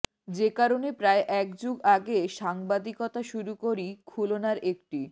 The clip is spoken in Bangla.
যে কারণে প্রায় এক যুগ আগে সাংবাদিকতা শুরু করি খুলনার একটি